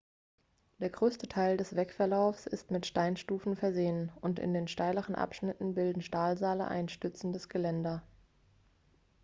der größte teil des wegverlaufs ist mit steinstufen versehen und in den steileren abschnitten bilden stahlseile ein stützendes geländer